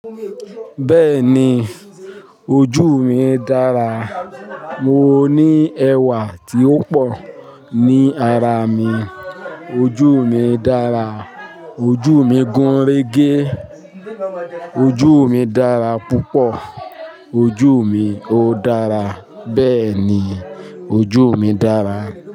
Bẹ́ẹ̀ni ojuú mi dára, mo ní ẹwà tí ó pọ̀ ní araa mi, ojuú mi dára, ojuú mi gúnrégé, ojú mi dára púpọ̀, ojú mi ó dára, bẹ́ẹ̀ni ojú mi dára.